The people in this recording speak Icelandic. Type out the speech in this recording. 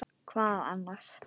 Hvað annað?